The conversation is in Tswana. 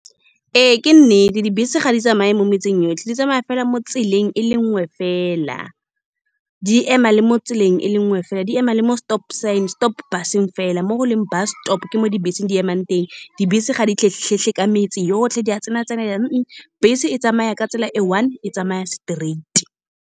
Ee, ke nnete. Dibese ga di tsamaye mo metseng yotlhe, di tsamaya fela mo tseleng e le nngwe fela. Di ema le mo tseleng e le nngwe fela, di ema le mo stop sign-e, stop bus-eng fela, mo go leng bus stop-o ke mo dibese di emang teng. Dibese ga di ka metse yotlhe, di a tsena-tsenelela . Bese e tsamaya ka tsela e one, e tsamaya straight-i.